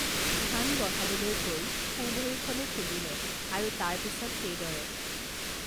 ধান বঢ়াবলৈ কৈ সোঁ ভৰিখনো খুন্দিলে আৰু তাৰ পিছত সেইদৰে